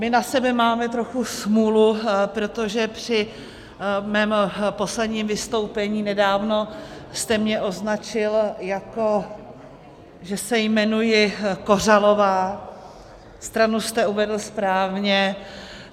My na sebe máme trochu smůlu, protože při mém posledním vystoupení nedávno jste mě označil, jako že se jmenuji Kořalová, stranu jste uvedl správně.